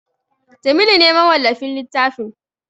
Jamilu ne mawallafin littafin